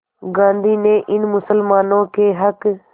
गांधी ने इन मुसलमानों के हक़